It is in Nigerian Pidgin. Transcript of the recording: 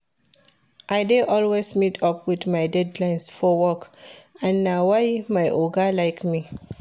I dey always meet up with my deadlines for work and na why my Oga like me